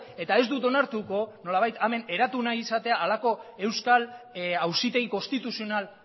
eta ez dut onartuko nolabait hemen eratu nahi izatea halako euskal auzitegi konstituzional